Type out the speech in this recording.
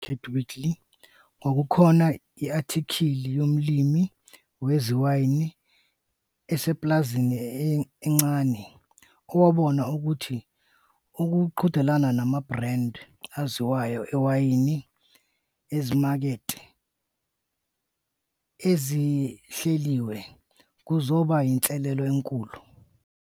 Esikhathi esedlule ku-Farmer's Weekly, kwakukhona i-athikhili yomlimi wewayini usepulazini elincane owabona ukuthi ukuqhudelana nama-brand aziwayo ewayini ezimakethe ezihleliwe kuzoba yinselelo enkulu.